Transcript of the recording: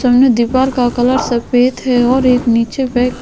सामने दीवार का कलर सफेद है और एक नीचे बैक --